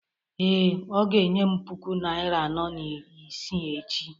Ee, ọ ga-enye m puku naịra anọ na isii echi